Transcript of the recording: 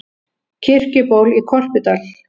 Kirkjuból í Korpudal.